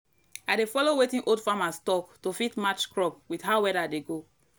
i dey follow wetin old farmers talk to fit match crop with how weather dey go.